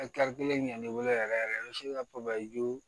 kelen min y'ale weele yɛrɛ yɛrɛ